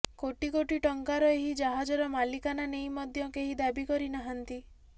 କୋଟି କୋଟି ଟଙ୍କାର ଏହି ଜାହାଜର ମାଲିକାନା ନେଇ ମଧ୍ୟ କେହି ଦାବି କରିନାହାନ୍ତି